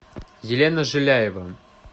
елена жиляева